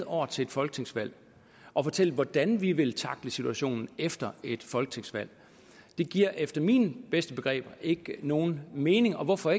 år til folketingsvalg at fortælle hvordan vi vil tackle situationen efter et folketingsvalg det giver efter mine bedste begreber ikke nogen mening og hvorfor